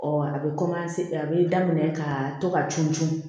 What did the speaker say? a bɛ a bɛ daminɛ ka to ka cun cun